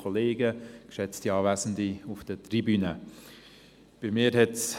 Ich habe mich noch nicht ganz daran gewöhnt.